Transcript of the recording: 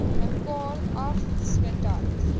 mekaar af sodat